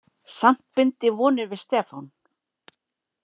Samt bind ég vonir við Stefán.